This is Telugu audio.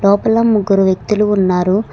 లోపల ముగ్గురు వ్యక్తులు ఉన్నారు.